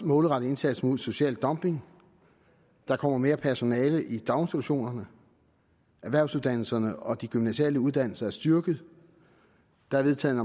målrettet indsats mod social dumping der kommer mere personale i daginstitutionerne erhvervsuddannelserne og de gymnasiale uddannelser er styrket der er vedtaget